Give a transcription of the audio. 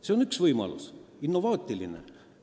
See on üks võimalus, innovaatiline.